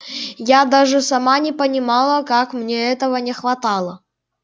я даже сама не понимала как мне этого не хватало